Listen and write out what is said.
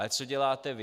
Ale co děláte vy?